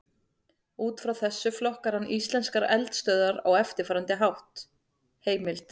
Út frá þessu flokkar hann íslenskar eldstöðvar á eftirfarandi hátt: Heimild: